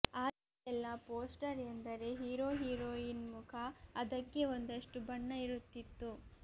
ಆಗೆಲ್ಲ ಪೋಸ್ಟರ್ ಎಂದರೆ hero heroine ಮುಖ ಅದಕ್ಕೆ ಒಂದಷ್ಟು ಬಣ್ಣ ಇರುತ್ತಿತ್ತು